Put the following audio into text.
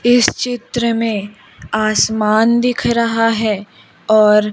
इस चित्र में आसमान दिख रहा है और--